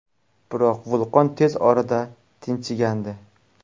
Biroq vulqon tez orada tinchigandi.